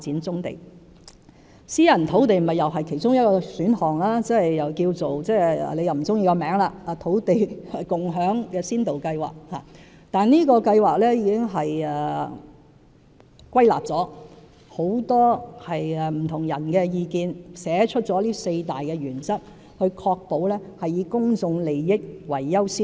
此外，私人土地也是其中一個選項，即土地共享先導計劃，雖然郭議員不喜歡這名字，但這項計劃已經考慮了很多不同人士的意見，歸納出四大原則，確保以公眾利益為先。